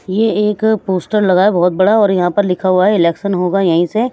ये एक पोस्टर लगा है बहुत बड़ा और यहां पर लिखा हुआ है इलेक्शन होगा यहीं से--